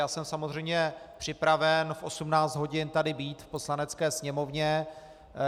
Já jsem samozřejmě připraven v 18 hodin tady být v Poslanecké sněmovně.